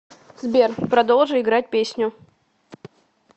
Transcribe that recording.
сбер продолжи играть песню